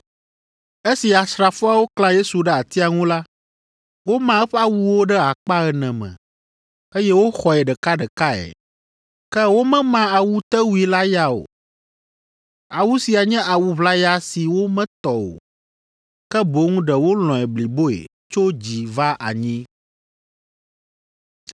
Esi asrafoawo klã Yesu ɖe atia ŋu la, woma eƒe awuwo ɖe akpa ene me, eye woxɔe ɖekaɖekae, ke womema awutewui la ya o. Awu sia nye awu ʋlaya si wometɔ o, ke boŋ ɖe wolɔ̃e bliboe tso dzi va anyi.